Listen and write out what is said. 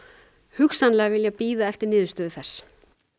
hugsanlega vilja bíða eftir niðurstöðu þess